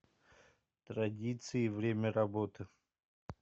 традиции время работы